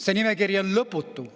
See nimekiri on lõputu.